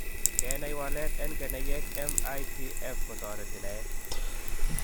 Kenai walet en keneyeek MITF kotereti naet.